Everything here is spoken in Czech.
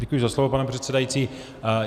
Děkuji za slovo, pane předsedající.